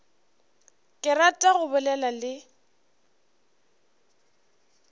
ke rata go bolela le